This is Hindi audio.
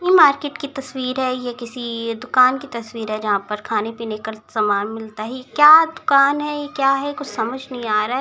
ये मार्केट की तस्वीर है ये किसी दुकान की तस्वीर है जहाँ पर खाने-पीने का सामान मिलता है क्या दुकान है ये क्या है कुछ समझ नहीं आ रहा है।